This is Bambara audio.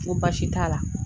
N ko baasi t'a la.